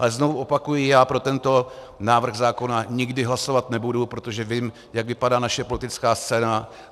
Ale znovu opakuji, já pro tento návrh zákona nikdy hlasovat nebudu, protože vím, jak vypadá naše politická scéna.